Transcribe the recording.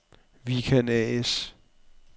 Vikan A/S